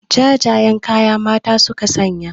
Jajayen kaya mata suka sanya